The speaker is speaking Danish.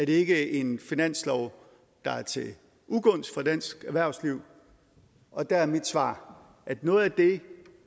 ikke en finanslov der er til ugunst for dansk erhvervsliv og der er mit svar at noget af det